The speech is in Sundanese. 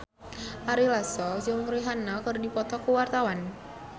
Ari Lasso jeung Rihanna keur dipoto ku wartawan